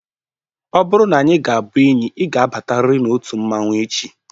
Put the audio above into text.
Ọ bụrụ n'anyị ga-abụ enyi, ị ga abatarir n'otu mmanwu echi!